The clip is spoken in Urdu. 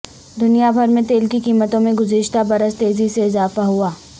دنیا بھر میں تیل کی قیمتوں میں گزشتہ برس تیزی سے اضافہ ہوا